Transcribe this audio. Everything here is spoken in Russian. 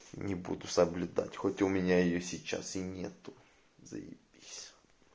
не буду соблюдать хоть у меня её сейчас и нету заебись